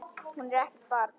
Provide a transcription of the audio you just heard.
Hún er ekkert barn.